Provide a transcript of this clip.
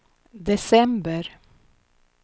december